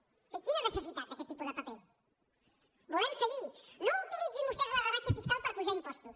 o sigui quina necessitat d’aquest tipus de paper volem seguir no utilitzin vostès la rebaixa fiscal per apujar impostos